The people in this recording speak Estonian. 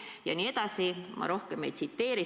" Jne, ma rohkem ei tsiteeri.